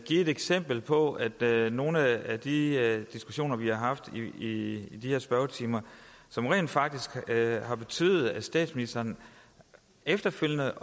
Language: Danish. give et eksempel på at der er nogle af de diskussioner vi har haft i de her spørgetimer som rent faktisk har betydet at statsministeren efterfølgende